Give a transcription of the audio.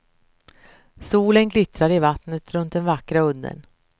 Solen glittrar i vattnet runt den vackra udden.